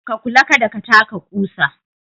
Ka kula kada ka taka kusa.